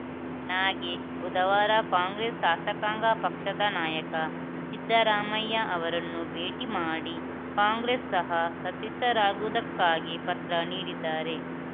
ನಾಗೇಶ್‌ ಬುಧವಾರ ಕಾಂಗ್ರೆಸ್‌ ಶಾಸಕಾಂಗ ಪಕ್ಷದ ನಾಯಕ ಸಿದ್ದರಾಮಯ್ಯ ಅವರನ್ನು ಭೇಟಿ ಮಾಡಿ ಕಾಂಗ್ರೆಸ್‌ ಸಹ ಸದಸ್ಯರಾಗುವುದಕ್ಕಾಗಿ ಪತ್ರ ನೀಡಿದ್ದಾರೆ